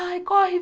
Ai, corre!